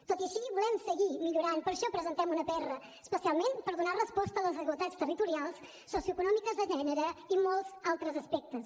tot i així volem seguir millorant per això presentem una pr especialment per donar resposta a les desigualtats territorials socio econòmiques de gènere i molts altres aspectes